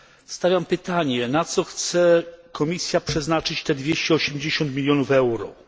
Stawiam pytanie na co chce Komisja przeznaczyć te 280 milionów euro?